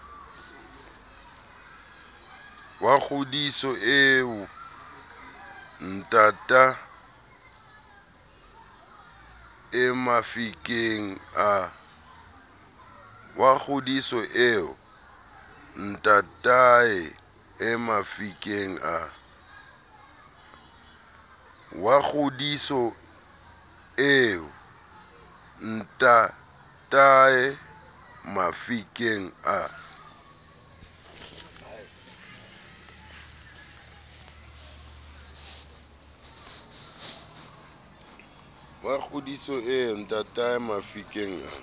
wa kgodiso eo ntataemafikeng a